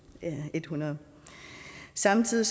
en hundrede samtidig